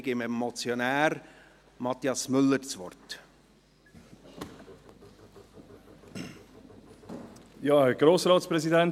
Ich erteile dem Motionär, Mathias Müller, hat das Wort.